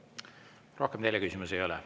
Rohkem teile küsimusi ei ole.